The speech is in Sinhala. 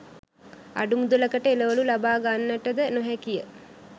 අඩු මුදලකට එළවළු ලබා ගන්නටද නොහැකිය.